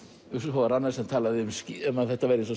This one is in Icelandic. svo var annar sem talaði um að þetta væri eins og